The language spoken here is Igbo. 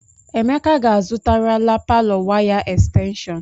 Emeka ga-azụtarala palọ waya estenshọn.